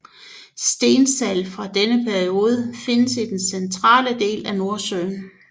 Stensalt fra denne periode findes i den centrale del af Nordsøen